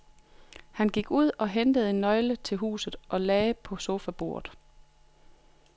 Han gik ud og hentede en nøgle til huset og lagde på sofabordet.